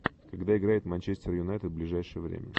когда играет манчестер юнайтед ближайшее время